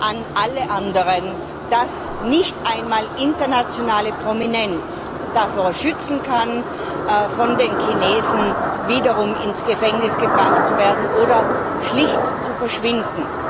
an alle anderen, dass nicht einmal internationale Prominenz davor schützen kann, von den Chinesen wiederum ins Gefängnis gebracht zu werden oder schlicht zu verschwinden.